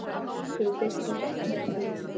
Karún, slökktu á þessu eftir sextíu mínútur.